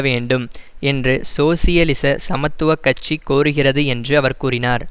வேண்டும் என்று சோசியலிச சமத்துவ கட்சி கோருகிறது என்று அவர் கூறினார்